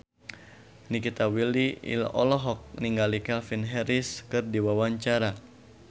Nikita Willy olohok ningali Calvin Harris keur diwawancara